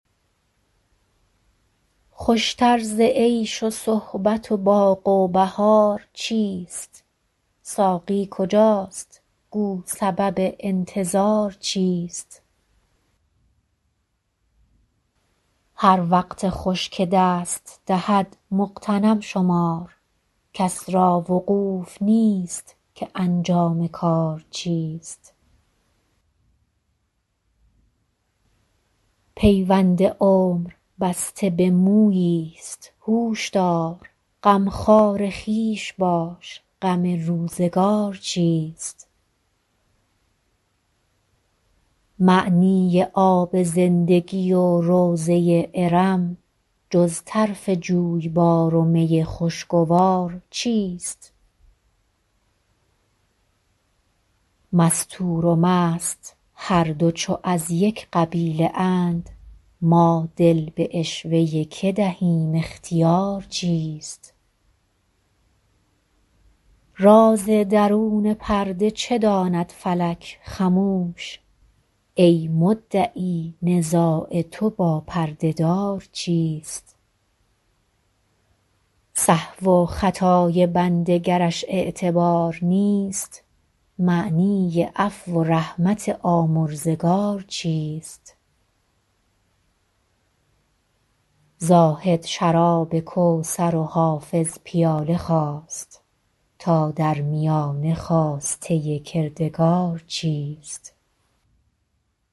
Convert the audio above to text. خوش تر ز عیش و صحبت و باغ و بهار چیست ساقی کجاست گو سبب انتظار چیست هر وقت خوش که دست دهد مغتنم شمار کس را وقوف نیست که انجام کار چیست پیوند عمر بسته به مویی ست هوش دار غمخوار خویش باش غم روزگار چیست معنی آب زندگی و روضه ارم جز طرف جویبار و می خوشگوار چیست مستور و مست هر دو چو از یک قبیله اند ما دل به عشوه که دهیم اختیار چیست راز درون پرده چه داند فلک خموش ای مدعی نزاع تو با پرده دار چیست سهو و خطای بنده گرش اعتبار نیست معنی عفو و رحمت آمرزگار چیست زاهد شراب کوثر و حافظ پیاله خواست تا در میانه خواسته کردگار چیست